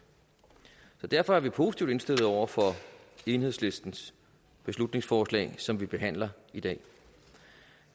så derfor er vi positivt indstillet over for enhedslistens beslutningsforslag som vi behandler i dag